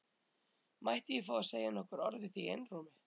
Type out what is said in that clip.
Mætti ég fá að segja nokkur orð við þig í einrúmi?